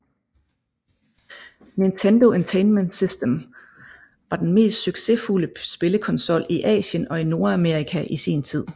Nintendo Entertainment System var den mest succesfulde spillekonsol i Asien og Nordamerika i sin tid